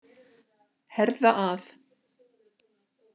Herða að.